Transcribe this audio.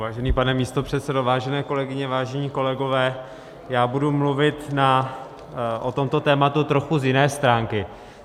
Vážený pane místopředsedo, vážené kolegyně, vážení kolegové, já budu mluvit o tomto tématu z trochu jiné stránky.